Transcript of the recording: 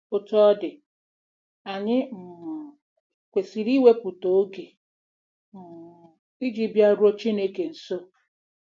Otú ọ dị, anyị um kwesịrị iwepụta oge um iji bịaruo Chineke nso.